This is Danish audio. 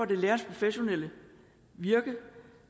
det lærerens professionelle virke